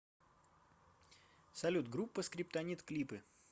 салют группа скриптонит клипы